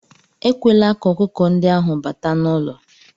Ekwela ka ọkụkọ ndị ahụ bata n'ụlọ